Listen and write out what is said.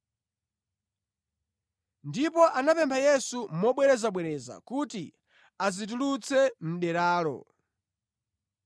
Ndipo anamupempha Yesu mobwerezabwereza kuti asazitulutse mʼderalo.